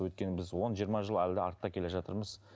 өйткені біз он жиырма жыл әлі де артта келе жатырмыз